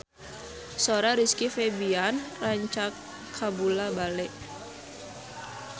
Sora Rizky Febian rancage kabula-bale